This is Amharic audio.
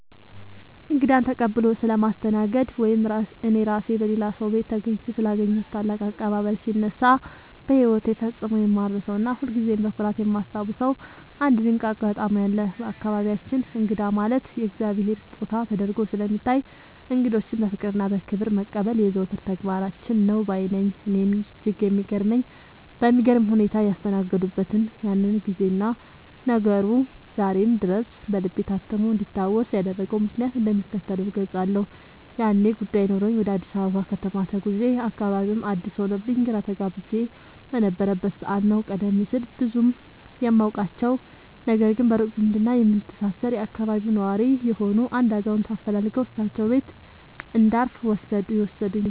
እንግዳን ተቀብሎ ስለማስተናገድ ወይም እኔ ራሴ በሌላ ሰው ቤት ተገኝቼ ስላገኘሁት ታላቅ አቀባበል ሲነሳ፣ በሕይወቴ ፈጽሞ የማልረሳውና ሁልጊዜም በኩራት የማስታውሰው አንድ ድንቅ አጋጣሚ አለ። በአካባቢያችን እንግዳ ማለት የእግዚአብሔር ስጦታ ተደርጎ ስለሚታይ፣ እንግዶችን በፍቅርና በክብር መቀበል የዘወትር ተግባራችን ነው ባይ ነኝ። እኔን እጅግ በሚገርም ሁኔታ ያስተናገዱበትን ያንን ጊዜና ነገሩ ዛሬም ድረስ በልቤ ታትሞ እንዲታወስ ያደረገውን ምክንያት እንደሚከተለው እገልጻለሁ፦ ያኔ ጉዳይ ኖሮኝ ወደ አዲስ አበባ ከተማ ተጉዤ፣ አካባቢውም አዲስ ሆኖብኝ ግራ ተጋብቼ በነበረበት ሰዓት ነው፤ ቀደም ሲል ብዙም የማውቃቸው፣ ነገር ግን በሩቅ ዝምድና የምንተሳሰር የአካባቢው ነዋሪ የሆኑ አንድ አዛውንት አፈላልገው እሳቸው ቤት እንዳርፍ የወሰዱኝ።